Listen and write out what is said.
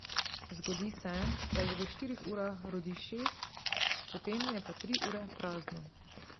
Zgodi se, da jih v štirih urah rodi šest, potem je pa tri ure prazno.